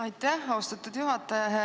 Aitäh, austatud juhataja!